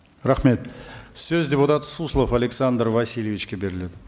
рамхет сөз депутат суслов александр васильевичке беріледі